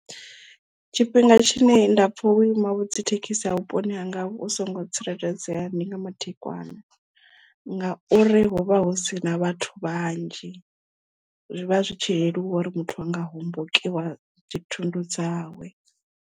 Tshifhinga tshine nda pfha vhuima dzi thekhisi ha vhuponi hanga vhu songo tsireledzea ndi nga madekwana ngauri huvha hu si na vhathu vhanzhi zwivha zwi tshi leluwa uri muthu anga hombokiwa dzi thundu dzawe.